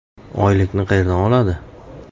Oylikni qayerdan oladi?